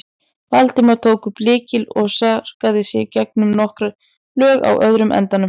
Valdimar tók upp lykil og sargaði sig gegnum nokkur lög á öðrum endanum.